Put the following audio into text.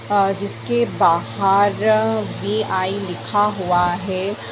अ जिसके बाहर वी.आई. लिखा हुआ है।